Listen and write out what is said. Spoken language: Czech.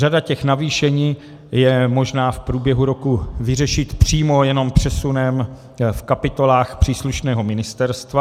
Řada těch navýšení je možná v průběhu roku vyřešit přímo jenom přesunem v kapitolách příslušného ministerstva.